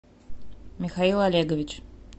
михаил олегович